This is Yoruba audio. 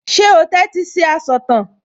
Ṣé o tẹ́tí sí asọ̀tàn?